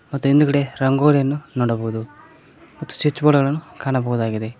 ಮತ್ತು ಹಿಂದುಗಡೆ ರಂಗೋಲಿಯನ್ನು ನೋಡಬಹುದು ಮತ್ತು ಸ್ವಿಚ್ ಬೋರ್ಡ್ ಅನ್ನು ಕಾಣಬಹುದಾಗಿದೆ.